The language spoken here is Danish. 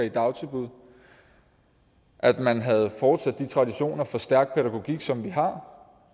i dagtilbud at man havde fortsat de traditioner for stærk pædagogik som vi har